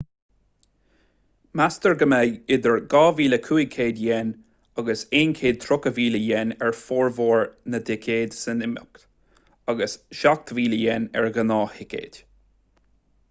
meastar go mbeidh idir ¥2,500 agus ¥130,000 ar fhormhór na dticéad don imeacht agus ¥7,000 ar ghnáth-thicéad